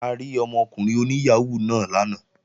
A rí ọmọkùnrin oní yàhóó náà lánàá